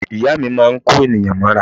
Ìyá mi máa ń kó ènìyàn mọ́ra.